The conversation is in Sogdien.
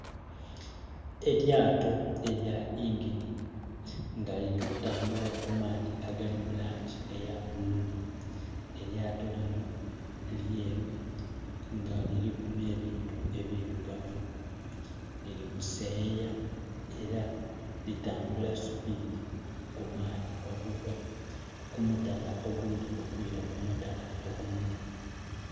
Elyato elya ingini nga lili kutambula kungulu ku maadhi agali mu langi eya bulu, elyato linho lyeru nga liliku nhe bintu ebirugavu lili kuseyaya era lutambula supidi ku maadhi okuva ku mutala oghundhi okwira ku mutala ogundhi.